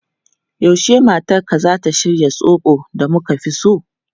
Yaushe matarka zata shirya zobo da muka fi so?